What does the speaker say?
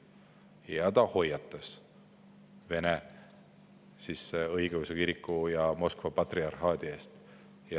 Ja ta hoiatas Vene Õigeusu Kiriku ja Moskva patriarhaadi eest.